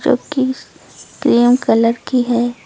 जोकि cream colour की है।